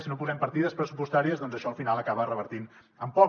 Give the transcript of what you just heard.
si no hi posem partides pressupostàries doncs això al final acaba revertint en poc